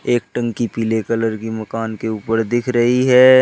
एक टंकी पीले कलर की मकान के ऊपर दिख रही है।